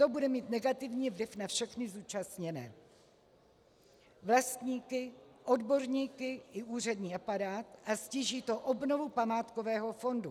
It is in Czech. To bude mít negativní vliv na všechny zúčastněné vlastníky, odborníky i úřední aparát a ztíží to obnovu památkového fondu.